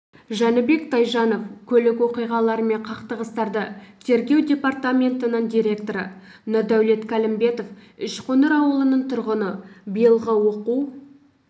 жәнібек тайжанов көлік оқиғалары мен қақтығыстарды тергеу департаментінің директоры нұрдәулет кәлімбетов үшқоңыр ауылының тұрғыны биылғы оқу